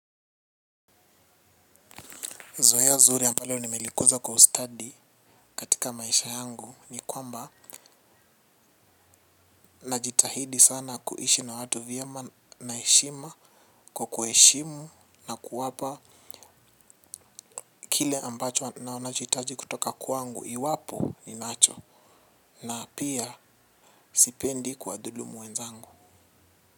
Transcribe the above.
Zoea zuri ambalo nimelikuza kwa ustadi katika maisha yangu ni kwamba najitahidi sana kuishi na watu vyema naheshima kwa kuheshimu na kuwapa kile ambacho wanachohitaji kutoka kwangu iwapo ni nacho na pia sipendi kwa dhulumu wenzangu.